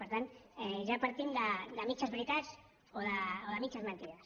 per tant ja partim de mitges veritats o de mitges mentides